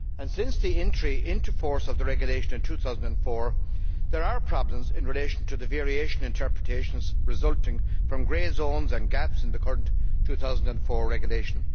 Since the entry into force of the regulation in 2004, there have been problems in relation to the variation in interpretations resulting from grey areas and gaps in the current 2004 regulation.